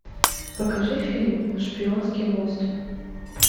покажи фильм шпионский мост